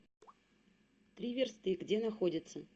три версты где находится